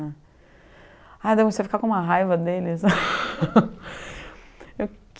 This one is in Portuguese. né. Aí eu comecei a ficar com uma raiva deles.